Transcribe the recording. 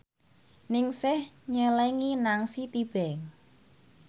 Ningsih nyelengi nang Citibank